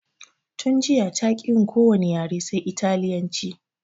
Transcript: Tun jiya taƙi yin ko wani yare sai italyanci